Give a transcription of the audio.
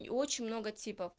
и очень много типа